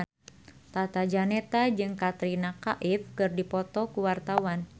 Tata Janeta jeung Katrina Kaif keur dipoto ku wartawan